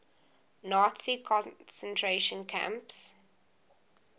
nazi concentration camps